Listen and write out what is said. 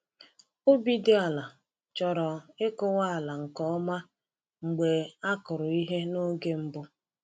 Ubi dị ala chọrọ ịkụwa ala nke ọma mgbe a kụrụ ihe n’oge mbụ.